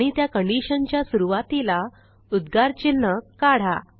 आणि त्या conditionच्या सुरूवातीला उद्गार चिन्ह काढा